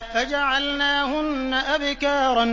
فَجَعَلْنَاهُنَّ أَبْكَارًا